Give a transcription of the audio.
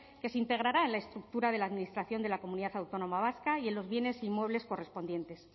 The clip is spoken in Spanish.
que se integrará en la estructura de la administración de la comunidad autónoma vasca y en los bienes inmuebles correspondientes